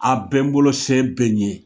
A bɛn n bolo se bɛ n ye!